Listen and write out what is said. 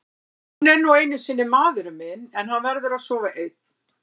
Hann er nú einu sinni maðurinn minn en hann verður að sofa einn.